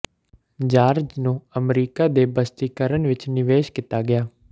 George ਨੂੰ America ਦੇ ਬਸਤੀਕਰਨ ਵਿਚ ਨਿਵੇਸ਼ ਕੀਤਾ ਗਿਆ